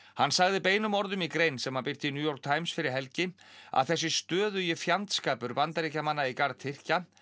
hann sagði beinum orðum í grein sem hann birti í New York Times fyrir helgi að þessi stöðugi fjandskapur Bandaríkjamanna í garð Tyrkja